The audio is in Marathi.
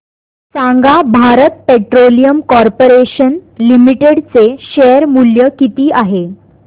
सांगा भारत पेट्रोलियम कॉर्पोरेशन लिमिटेड चे शेअर मूल्य किती आहे